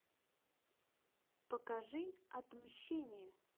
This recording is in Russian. покажи отмщение